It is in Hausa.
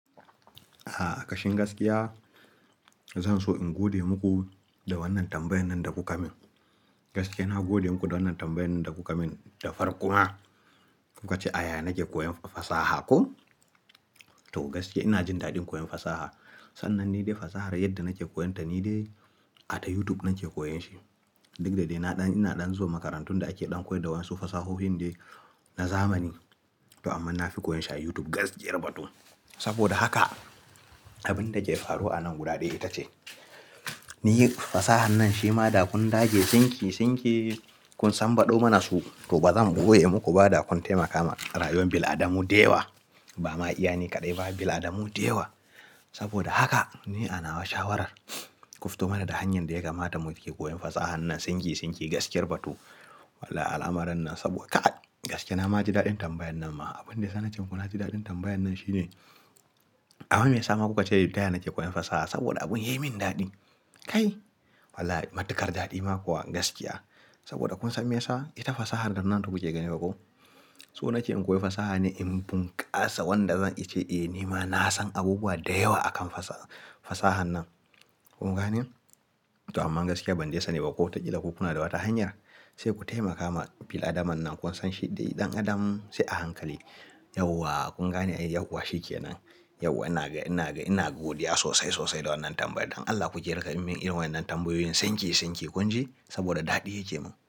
A'a, kashin gaskiya, zan so in gode muku da wannan tambayan nan da kuka min. Gaskiya, na gode muku da wannan tambayan nan da kuka min da farko ma. Kuka ce, "Aya nake koyan fasaha." Ko? To gaskiya ina jin daɗin koyon fasaha. Sannan ni dai fasahar yadda nake koyonta ni dai, a ta YouTube nake koyon shi. Duk da dai na ɗan, ina ɗan zuwa makarantun da ake ɗan koyar da wasu fasahohin dai na zamani. To amma na fi koyon shi a YouTube gaskiyar batun. Saboda haka, abin da ki faru a nan guda ɗaya ita ce, ni fasahar nan shi ma da kun dage sinki sinki, kun sanbaɗau mana su, to ba zan boye muku ba da kun taimaka ma rayuwar bil'adamu da yawa. Ba ma iya ni kaɗai, ba bil'adamu da yawa. Saboda haka, ni anawa shawarar ku fito mana da hanyar da ya kamata muke koyon fasahar nan sinki sinki gaskiyar batu. Walla al'amuran nan saboda ka'ad, gaskiya na ma ji daɗin tambayan nan ma. Abin da zan ce muku na ji daɗin tambayan nan shi ne, amma meya sa kuka ce, "taya nake koyan fasaha saboda abun ya yi min daɗi." Kai? Walla matukar daɗi ma kuwa gaskiya. Saboda kun san me ya sa? Ita fasahar da nan da kuke gani ba ko? So na ke in koyi fasaha ne in bunkasa wanda zan eh, "Eh ni ma na san abubuwa da yawa akan fasaha, fasahar nan." Kun gane? To amma gaskiya ban dai sani ba ko wataƙila kuna da wata hanyar. Sai ku taimaka ma bil'adama nan kun san shi dai ɗan adam sai a hankali. Yauwaa, kun gane a yi yauwa shi ke nan. Yauwa ina ga, ina ga, ina godiya sosai, sosai da wannan tambaya. Don Allah ku ke riƙa mun irin wannan tambayoyin sinki sinki kun ji? Saboda daɗi yake mun.